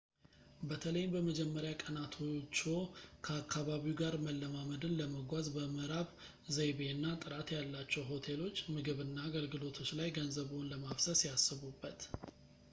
በተለይም በመጀመርያ ቀናቶችዎ ከአካባቢው ጋር መለማመድን ለማገዝ በምዕራብ-ዘይቤ እና ጥራት ያላቸው ሆቴሎች ምግብ እና አገልግሎቶች ላይ ገንዘብዎን ለማፍሰስ ያስቡበት